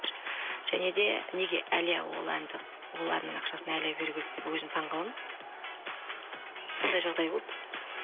және де неге әлия ол әннің ақшасын әлия беру керек деп өзім таңғаламын сондай жағдай болды